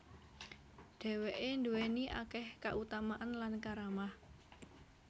Dhèwké nduwèni akèh kautamaan lan karamah